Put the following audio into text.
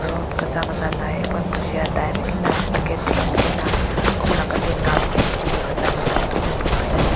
rod kaza kaza nai hae kün bujiya dai ken nai packet theim ken nai heh kumna katin na pizi kaza tu pun na.